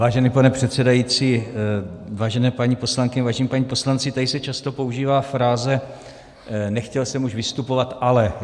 Vážený pane předsedající, vážené paní poslankyně, vážení páni poslanci, tady se často používá fráze "nechtěl jsem už vystupovat, ale...".